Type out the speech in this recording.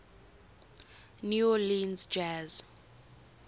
new orleans jazz